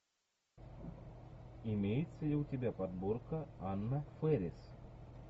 имеется ли у тебя подборка анна фэрис